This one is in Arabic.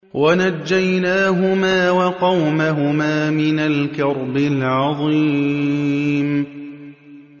وَنَجَّيْنَاهُمَا وَقَوْمَهُمَا مِنَ الْكَرْبِ الْعَظِيمِ